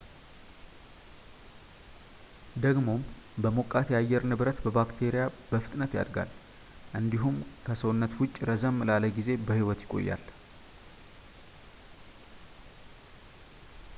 ደግሞም በሞቃት የአየር ንብረት ባክቴሪያ በፍጥነት ያድጋል እንዲሁም ከሰውነት ውጭ ረዘም ላለ ጊዜ በህይወት ይቆያል